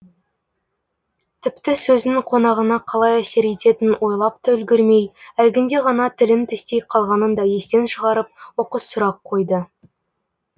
тіпті сөзінің қонағына қалай әсер ететінін ойлап та үлгірмей әлгінде ғана тілін тістей қалғанын да естен шығарып оқыс сұрақ қойды